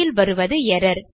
கடைசியில் வருவது எர்ரர்